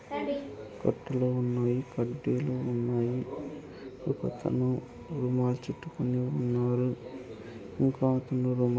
కట్టెలు ఉన్నాయి కడ్డీలు ఉన్నాయి ఒకతను రుమాలు చుట్టుకొని ఉన్నాడు. ఇంకో అతను రుమాల--